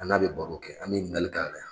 An n'a bɛ baro kɛ an bɛ yinikalik'a la. la